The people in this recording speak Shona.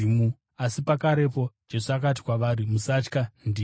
Asi pakarepo Jesu akati kwavari, “Musatya, ndini!”